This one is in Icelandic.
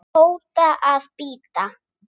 hóta að bíta